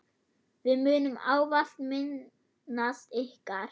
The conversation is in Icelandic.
Við munum ávallt minnast ykkar.